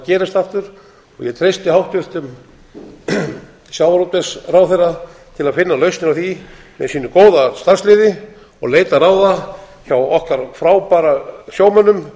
gerist aftur ég treysti hæstvirtum sjávarútvegsráðherra til að finna lausnir á því með sínu góða starfsliði og leita ráða hjá okkar frábæra sjómönnum